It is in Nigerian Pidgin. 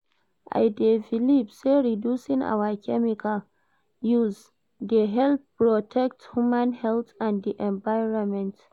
I dey believe say reducing our chemical use dey help protect human health and di environment.